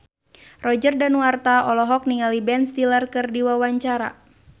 Roger Danuarta olohok ningali Ben Stiller keur diwawancara